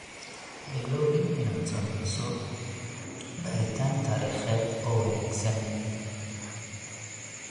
Ha iloobin inaad sameyso baaritaan taariikheed oo wanaagsan.